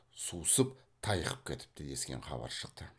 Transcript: сусып тайқып кетіпті дескен хабар шықты